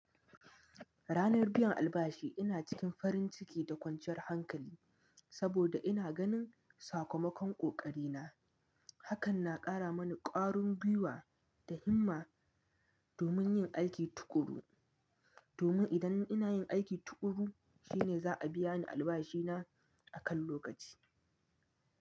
Ranar biyan albashi ina cikin farin ciki da kwanciyar hankali saboda ina ganin sakamakon ƙoƙari na. Hakan na ƙara mani ƙwarin gwiwa da himma domin yin aiki tuƙuru, domin idan ina yin aiki tuƙuru shine za a biya ni albashina a kan lokaci.